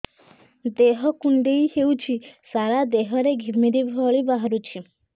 ଦେହ କୁଣ୍ଡେଇ ହେଉଛି ସାରା ଦେହ ରେ ଘିମିରି ଭଳି ବାହାରୁଛି